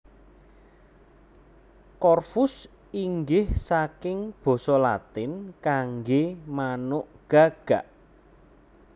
Corvus inggih saking basa Latin kanggé manuk gagak